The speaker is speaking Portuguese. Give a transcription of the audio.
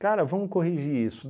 Cara, vamos corrigir isso.